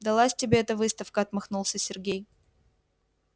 далась тебе эта выставка отмахнулся сергей